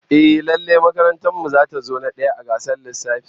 Ehh, lallai makarantar mu zata zo na daya a gasar lissafi